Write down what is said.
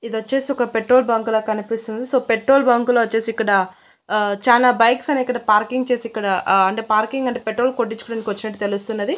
ఇది వచ్చేసి ఒక పెట్రోల్ బంక్ లా కనిపిస్తుంది సో పెట్రోల్ బంక్ లు వచ్చేసి ఇక్కడ ఆహ్ చానా బైక్స్ అనేవి ఇక్కడ పార్కింగ్ చేసి ఇక్కడ ఆహ్ అంటే పార్కింగ్ అంటే పెట్రోల్ కొట్టించుకోడానికి వచ్చినట్టు తెలుస్తున్నది.